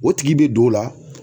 O tigi bɛ don o la.